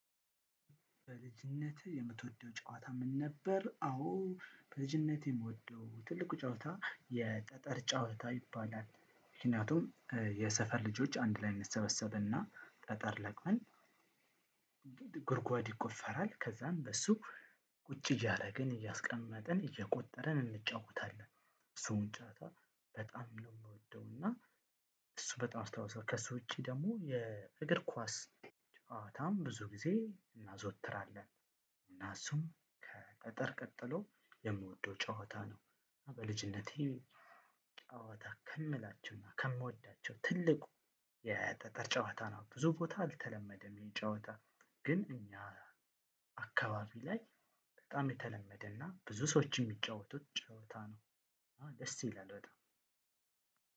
በልጅነትህ የምትወደው ጨዋታ ምን ነበር? አዎ በልጅነቴ የምወደው ትልቁ ጨዋታ የጠጠር ጨዋታ ይባላል። ምክንያቱም የሰፈር ልጆች አንድ ላይ እንሰበሰብና ጠጠር ለቅመን ጉድጓድ ይቆፈራል። ከዛም በሱ ቁጭ እያረግን እያስቀመጥን እየቆጠረን እንጫወታለን። እሱን ጨዋታ በጣም ነው የምወደው። እና እሱ በጣም አስተዋጽኦ ከሱ ውጪ ደግሞ የእግር ኳስ ጨዋታም ብዙ ጊዜ እናዘወትራለን። እና እሱም ከቀጠር ቀጥሎ የምወደው ጨዋታ ነው። በልጅነቴ ጨዋታ ከምላቸውና ከምወዳቸው ትልቁ የጠጠር ጨዋታ ነው ብዙ ቦታ አልተለመደም። ይህ ጨዋታ ግን እኛ አካባቢ ላይ በጣም የተለመደና ብዙ ሰዎች የሚጫወቱት ጨዋታ ነው። ደስ ይላል በጣም